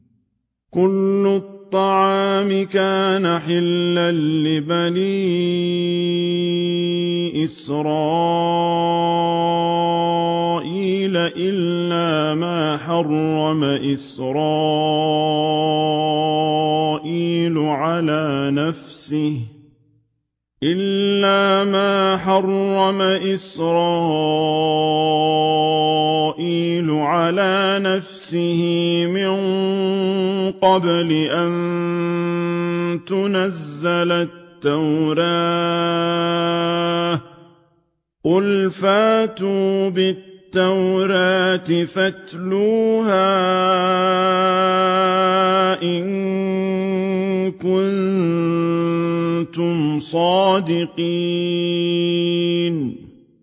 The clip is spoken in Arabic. ۞ كُلُّ الطَّعَامِ كَانَ حِلًّا لِّبَنِي إِسْرَائِيلَ إِلَّا مَا حَرَّمَ إِسْرَائِيلُ عَلَىٰ نَفْسِهِ مِن قَبْلِ أَن تُنَزَّلَ التَّوْرَاةُ ۗ قُلْ فَأْتُوا بِالتَّوْرَاةِ فَاتْلُوهَا إِن كُنتُمْ صَادِقِينَ